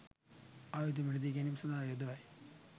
ආයුධ මිලදී ගැනීම සඳහා යොදවයි